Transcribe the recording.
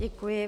Děkuji.